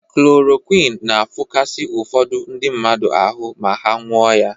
Klorokwin na-afụkasị ụfọdụ ndị mmadụ ahụ ma ha nụọ ya.